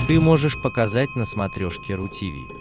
ты можешь показать на смотрешке ру ти ви